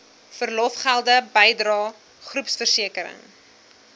verlofgelde bydrae groepversekering